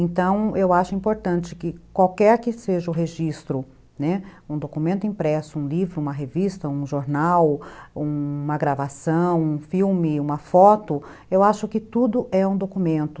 Então, eu acho importante que qualquer que seja o registro, né, um documento impresso, um livro, uma revista, um jornal, uma gravação, um filme, uma foto, eu acho que tudo é um documento.